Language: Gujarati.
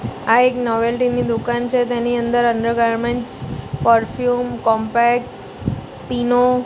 આ એક નોવેલ્ટી ની દુકાન છે તેની અંદર અન્ડરગાર્મેન્ટ્સ પરફ્યુમ કોમ્પેક્ટ પીનો --